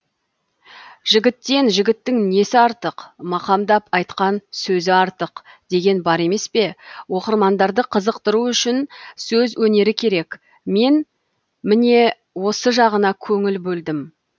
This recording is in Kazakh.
жігіттен жігіттің несі артық мақамдап айтқан сөзі артық деген бар емес пе оқырмандарды қызықтыру үшін сөз өнері керек мен міне осы жағына көңіл бөлдім